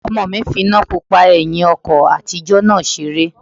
Ọmọ fi iná pupa ẹ̀hìn ọkọ̀ àtijọ́ náà seré